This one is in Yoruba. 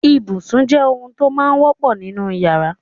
Ibùsùn jẹ́ ohun tó máa wọ́pọ̀ nínú ìyàrá.